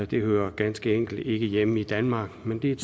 det hører ganske enkelt ikke hjemme i danmark men det er